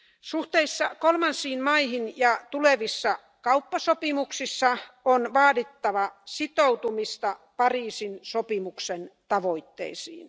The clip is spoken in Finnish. Suhteissa kolmansiin maihin ja tulevissa kauppasopimuksissa on vaadittava sitoutumista Pariisin sopimuksen tavoitteisiin.